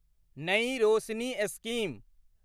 नई रोशनी स्कीम